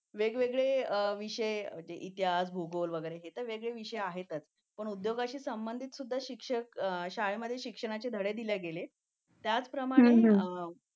वेगवेगळे विषय इतिहास भूगोल वगैरे ते वेगळे विषय आहेतच पण उद्योगाच्या संबंधित सुद्धा शाळेमध्ये शिक्षणाचे धडे दिले गेले आहेत त्याचप्रमाणे